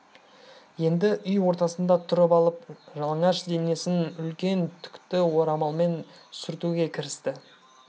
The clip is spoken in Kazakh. енді үй ортасында тұрып алып жалаңаш денесін үлкен түкті орамалмен сүртуге кірісті